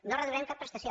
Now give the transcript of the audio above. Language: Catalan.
no reduirem cap prestació